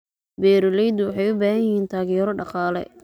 Beeraleydu waxay u baahan yihiin taageero dhaqaale.